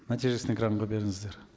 нәтижесін экранға беріңіздер